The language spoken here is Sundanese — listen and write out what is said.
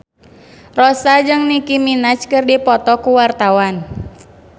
Rossa jeung Nicky Minaj keur dipoto ku wartawan